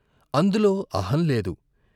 అందులో అహం లేదు.